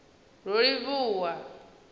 rolivhuwan